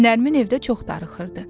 Nərmin evdə çox darıxırdı.